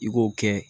I k'o kɛ